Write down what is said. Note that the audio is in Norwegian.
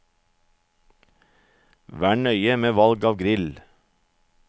Vær nøye med valg av grill.